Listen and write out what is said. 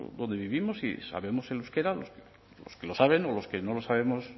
donde vivimos y sabemos el euskera los que lo saben o los que no lo sabemos